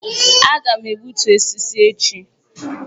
Aga m egbutu osisi echi